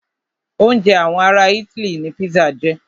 Oúnjẹ àwọn ará itály ní pizza jẹ́.